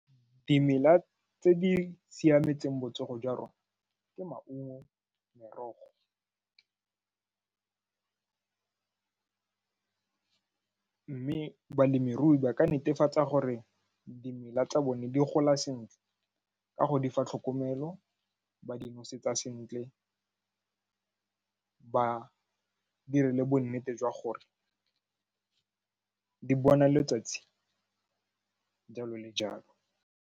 Dimela tse di siametseng botsogo jwa rona ke maungo, merogo mme balemirui ba ka netefatsa gore dimela tsa bone di gola sentle ka go di fa tlhokomelo, ba di nosetsa sentle, ba dire le bonnete jwa gore di bona letsatsi jalo le jalo.